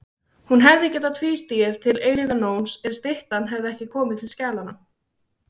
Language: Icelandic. Hún hefði getað tvístigið til eilífðarnóns ef styttan hefði ekki komið til skjalanna.